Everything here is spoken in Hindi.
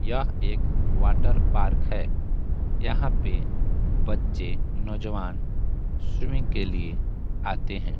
यह एक वाटर पार्क है यहाँ पे बच्चे नौजवान स्वीमिंग के लिए आते हैं।